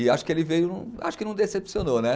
E acho que ele veio, acho que não decepcionou, né?